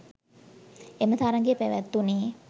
එම තරඟය පැවැත්වුණේ